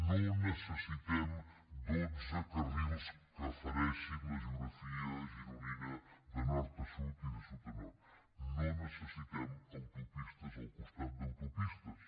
no necessitem dotze carrils que fereixin la geografia gironina de nord a sud i de sud a nord no necessitem autopistes al costat d’autopistes